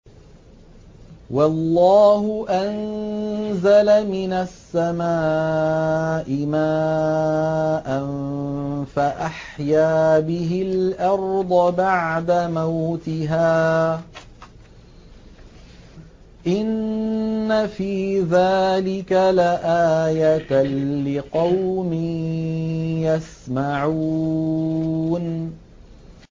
وَاللَّهُ أَنزَلَ مِنَ السَّمَاءِ مَاءً فَأَحْيَا بِهِ الْأَرْضَ بَعْدَ مَوْتِهَا ۚ إِنَّ فِي ذَٰلِكَ لَآيَةً لِّقَوْمٍ يَسْمَعُونَ